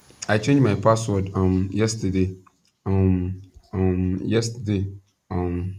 i change my password um yesterday um um yesterday um